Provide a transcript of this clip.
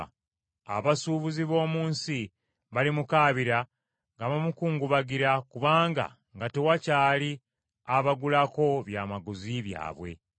“Abasuubuzi b’omu nsi balimukaabira nga bamukungubagira kubanga nga tewakyali abagulako byamaguzi byabwe.